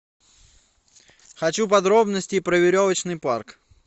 хочу подробностей про веревочный парк